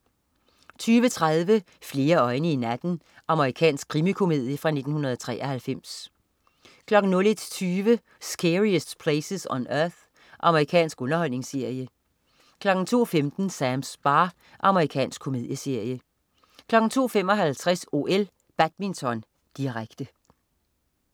23.30 Flere øjne i natten. Amerikansk krimikomedie fra 1993 01.20 Scariest Places on Earth. Amerikansk underholdningsserie 02.15 Sams bar. Amerikansk komedieserie 02.55 OL: Badminton, direkte